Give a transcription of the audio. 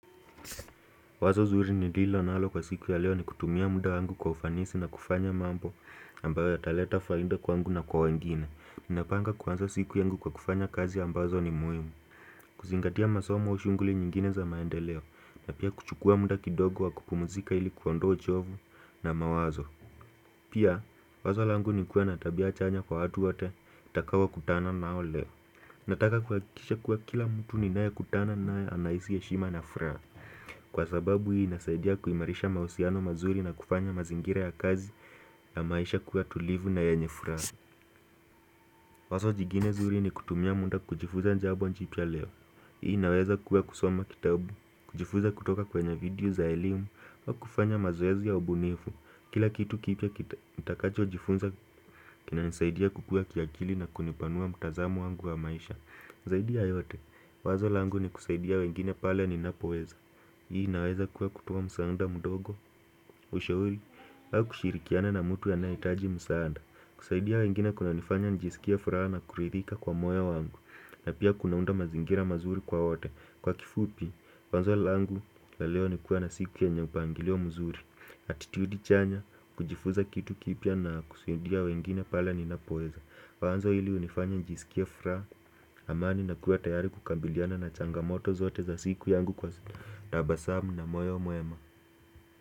Wazo zuri nililo nalo kwa siku ya leo ni kutumia muda wangu kwa ufanisi na kufanya mambo ambayo yataleta faida kwangu na kwa wengine Ninapanga kuanza siku yangu kwa kufanya kazi ambazo ni muhimu kuzingatia masomo shughuli nyingine za maendeleo na pia kuchukua muda kidogo wa kupumzika ili kuondoa uchovu na mawazo pia wazo langu ni kuwa na tabia chanya kwa watu wote nitakaokutana nao leo Nataka kuhakikisha kuwa kila mtu ninayekutana naye anahisi heshima na furaha Kwa sababu hii nasaidia kuimarisha mahusiano mazuri na kufanya mazingira ya kazi ya maisha kuwa tulivu na yenye furaha Wazo jingine zuri ni kutumia muda kujifunza jambo jipya leo Hii inaweza kuwa kusoma kitabu kujifunza kutoka kwenye video za elimu na kufanya mazoezi ya ubunifu Kila kitu kipya nitakachojifunza kinanisaidia kukua kiakili na kunipanua mtazamo wangu wa maisha zaidi ya yote wazo langu ni kusaidia wengine pale ninapoweza Hii inaweza kuwa kutoa msaada mdogo ushauri kufaa kushirikiana na mtu anayehitaji msaada kusaidia wengine kunanifanya nijisikie furaha na kuridhika kwa moya wanguna pia kunaunda mazingira mazuri kwa wote kwa kifupi, wazo langu la leo ni kuwa na siku yenye mpangilio mzuri attitude chanya kujifunza kitu kipya na kusaidia wengine pale ninapoweza wazo hili hunifanya nisikie furaha amani na kuwa tayari kukabiliana na changamoto zote za siku yangu kwa tabasamu na moyo mwema.